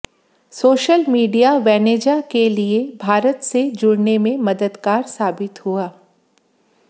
social media Venezuela के लिये भारत से जुड़ने में मददगार साबित हुआ